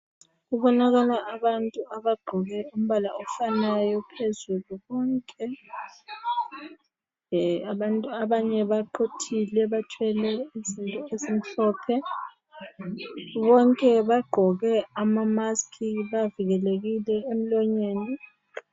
Kubonakala abantu abagqoke umbala ofanayo phezulu bonke. Eeh abanye abantu baquthile bathwele izinto ezimhlophe. Bonke bagqoke amamaski bavikelekile emlonyeni.